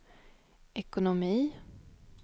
ekonomi